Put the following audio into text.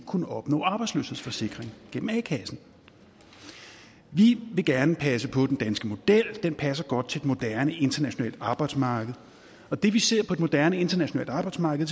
kunne opnå arbejdsløshedsforsikring igennem a kassen vi vil gerne passe på den danske model den passer godt til et moderne internationalt arbejdsmarked og det vi ser på et moderne internationalt arbejdsmarked